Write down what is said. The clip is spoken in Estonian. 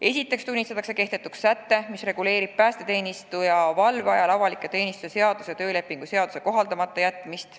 Esiteks tunnistatakse kehtetuks säte, mis reguleerib päästeteenistujale valve ajal avaliku teenistuse seaduse ja töölepingu seaduse kohaldamata jätmist.